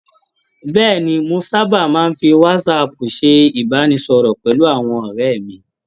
Bẹ́ẹ̀ni, mo sábà máa ń fi WhatsApp ṣe ìbánisọ̀rọ̀ pẹ̀lú àwọn ọ̀rẹ́ mi.